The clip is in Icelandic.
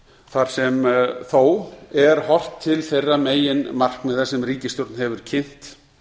þar sem þó er horft til þeirra meginmarkmiða sem ríkisstjórn hefur kynnt